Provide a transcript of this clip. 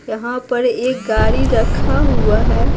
यहाँ पर एक गाड़ी रखा हुआ है।